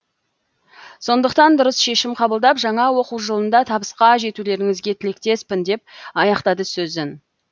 сондықтан дұрыс шешім қабылдап жаңа оқу жылында табысқа жетулеріңізге тілектеспін деп аяқтады сөзін